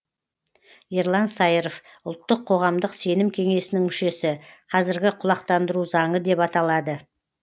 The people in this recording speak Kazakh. ерлан саиров ұлттық қоғамдық сенім кеңесінің мүшесі қазіргі құлақтандыру заңы деп аталады